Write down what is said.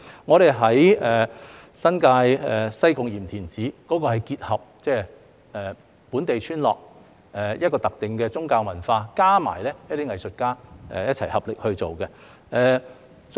至於新界西貢鹽田梓藝術節，則結合了本地村落特定的宗教文化，加上一些藝術家一起合力去做。